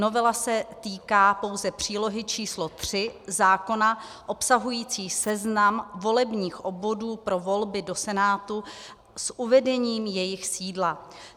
Novela se týká pouze přílohy č. 3 zákona obsahující seznam volebních obvodů pro volby do Senátu s uvedením jejich sídla.